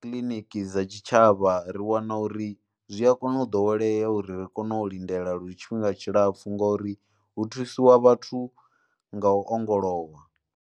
kiliniki dza tshitshavha ri wana uri zwi a kona u ḓowelea uri ri kone u lindela lu tshifhinga tshilapfu ngori hu thusiwa vhathu nga u ongolowa.